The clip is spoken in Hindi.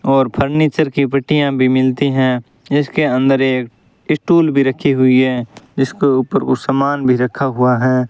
और फर्नीचर की पेटियां भी मिलती हैं जिसके अंदर एक स्टूल भी रखी हुई हैं जिसके ऊपर कुछ सामान भी रखा हुआ है।